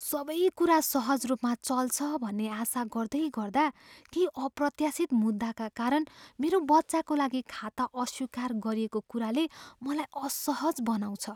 सबै कुरा सहज रूपमा चल्छ भन्ने आशा गर्दैगर्दा, केही अप्रत्याशित मुद्दाका कारण मेरो बच्चाको लागि खाता अस्वीकार गरिएको कुराले मलाई असहज बनाउँछ।